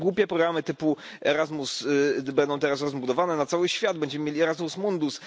No i głupie programy typu Erasmus będą teraz rozbudowane na cały świat będzie Erasmus mundus.